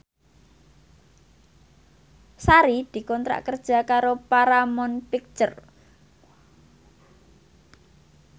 Sari dikontrak kerja karo Paramount Picture